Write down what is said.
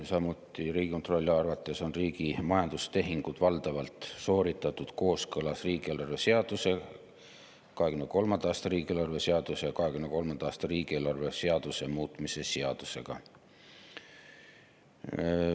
Samuti on Riigikontrolli arvates riigi majandustehingud valdavalt sooritatud kooskõlas riigieelarve seaduse, 2023. aasta riigieelarve seaduse ja 2023. aasta riigieelarve seaduse muutmise seadusega.